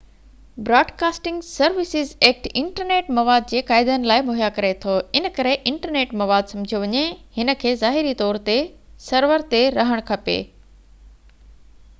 broadcasting services act internet مواد جي قاعدن لاءِ مهيا ڪري ٿو ان ڪري انٽرنيٽ مواد سمجهيو وڃي هن کي ظاهري طور تي سرور تي رهڻ کپي